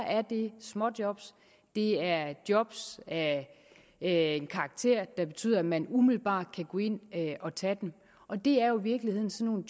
at det er småjob det er job af en karakter der betyder at man umiddelbart kan gå ind og tage dem og det er jo i virkeligheden sådan